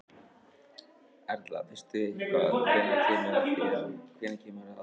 Erla: Veistu eitthvað hvenær kemur að þér, hvenær kemur að aðgerð?